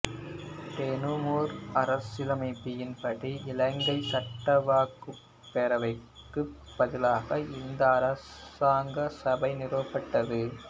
Donoughmore அரசியலமைப்பின் படி இலங்கை சட்டவாக்கப் பேரவைக்குப் பதிலாக இந்த அரசாங்க சபை நிறுவப்பட்டது